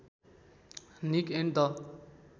Nick and the